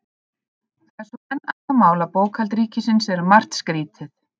Það er svo enn annað mál að bókhald ríkisins er um margt skrýtið.